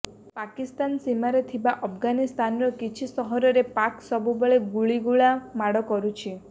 ପାକିସ୍ତାନ ସୀମାରେ ଥିବା ଆଫଗାନିସ୍ତାନର କିଛି ସହରରେ ପାକ୍ ସବୁବେଳେ ଗୁଳିଗୋଳା ମାଡ଼ କରୁଛି